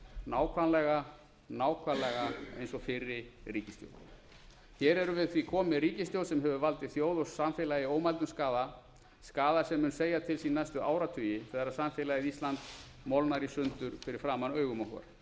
nákvæmlega nákvæmlega eins og fyrri ríkisstjórn hér erum við því komin með ríkisstjórn sem hefur valdið þjóð og samfélagi ómældum skaða skaða sem mun segja til sín næstu áratugi þegar samfélagið ísland molnar í sundur fyrir framan augum okkar